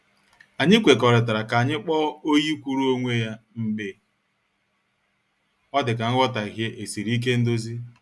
Anyị kwekọrịtara ka anyị kpọọ oyi kwuru onwe ya mgbe ọ dịka nghotaghie esiri ike ndozi.